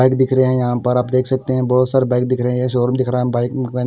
bike दिख रहे है यहां पर आप देख सकते हैं बहोत सारा बाइक दिख रहे शोरूम दिख रहा है बाइक में--